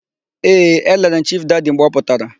Ee, elere m Chifu Dadi mgbe ọ pụtara.